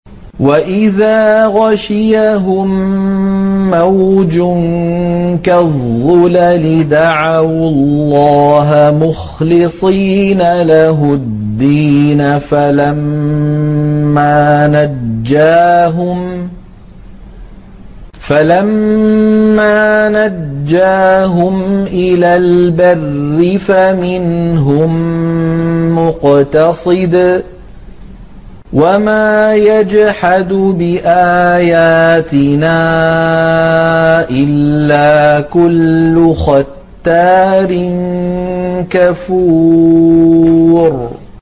وَإِذَا غَشِيَهُم مَّوْجٌ كَالظُّلَلِ دَعَوُا اللَّهَ مُخْلِصِينَ لَهُ الدِّينَ فَلَمَّا نَجَّاهُمْ إِلَى الْبَرِّ فَمِنْهُم مُّقْتَصِدٌ ۚ وَمَا يَجْحَدُ بِآيَاتِنَا إِلَّا كُلُّ خَتَّارٍ كَفُورٍ